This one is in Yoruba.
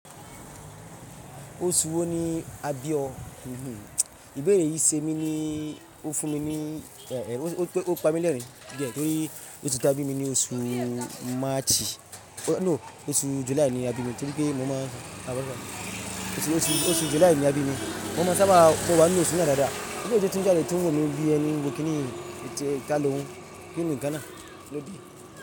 Oṣù wo ni a bí ọ? Íbéèrè yìí ṣe mí ní, ó fún mi ní, ó pa mi lẹ́rìn-ín torí ó ta bí mi ní oṣù March, no oṣù July ni a bí mi, torí pé mo máa ń, oṣù July ni a bí mi. Mo máa ń sábà bọ̀ wá nínú oṣù náà dáadáa. Nígbà tó ti ń jáde, tó ń wọ mi bí ẹni kìíní kalú nínú Ghana, ló bí i.